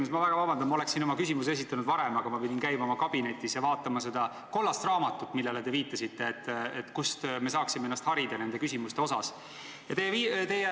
Ma palun väga vabandust, oleksin oma küsimuse esitanud varem, aga pidin käima oma kabinetis ja vaatama seda kollast raamatut, millele te viitasite, kust me saaksime ennast nende küsimuste osas harida.